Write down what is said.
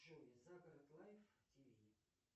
джой загород лайф тв